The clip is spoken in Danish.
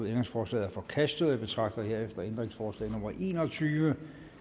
ændringsforslaget er forkastet jeg betragter herefter ændringsforslag nummer en og tyve